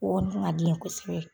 O kɔni kun ka di ne ye kosɛbɛ.